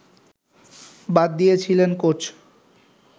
বাদ দিয়েছিলেন কোচ